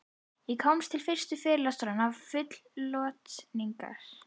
Ég kom til fyrstu fyrirlestranna full lotningar.